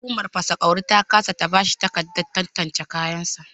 Hukumar fasa kwauri ta ƙasa ta bashi takarda tantance kayan sa